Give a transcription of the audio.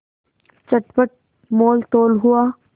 चटपट मोलतोल हुआ